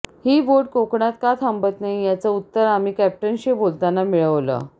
ही boat कोकणात का थांबत नाही याचं उत्तर आम्ही कॅप्टनशी बोलताना मिळवलं